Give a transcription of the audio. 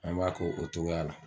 An b'a ko o togoya la